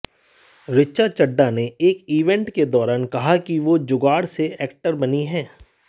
ऋचा चड्ढा ने एक इवेंट के दौरान कहा कि वो जुगाड़ से एक्टर बनी हैं